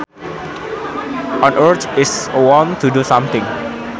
An urge is a want to do something